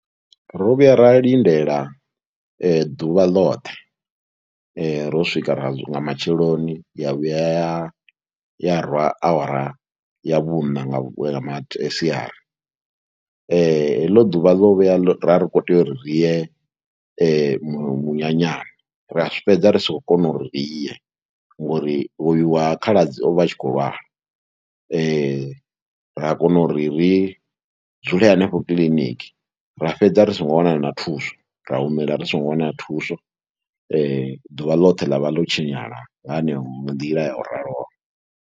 Ro vhuya ra lindela ḓuvha ḽoṱhe ro swika ra nga matsheloni ya vhuya ya ya rwa awara ya vhuṋa nga vhuye nga masiari, heḽo ḓuvha ḽo vhuya, ra khou tea uri ri ye munyanyani, ra fhedza ri sa khou kona uri riye ngori uyu wa khaladzi o vha a tshi khou lwala ra kona uri ri dzule henefho kiliniki ra fhedza ri songo wana na thuso, ra humela ri songo wana thuso ḓuvha ḽoṱhe ḽa vha ḽo tshinyala nga heneyo nḓila ya u raloho.